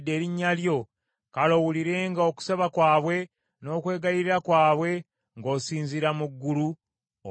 kale owulirenga okusaba kwabwe n’okwegayirira kwabwe, ng’osinziira mu ggulu, obaddiremu.